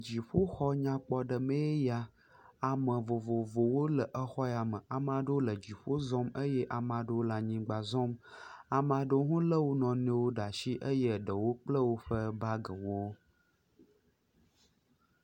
Dziƒoxɔ nyakpɔ nyui aɖe ya amevovovowo le xɔame ame aɖewo le dziƒo zɔm eye ame aɖewo le anyigbã zɔm ame aɖewo le wonɔewo ɖe asi eye ɖewo kpla woƒe bagiwo